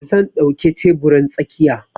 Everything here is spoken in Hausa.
Zan ɗauke teburin tsakiya.